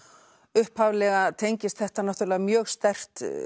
upphaflega tengist þetta náttúrulega mjög sterkt